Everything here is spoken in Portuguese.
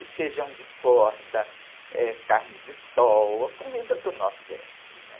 E feijão de corda, eh, carne de sol, a comida do Nordeste, né?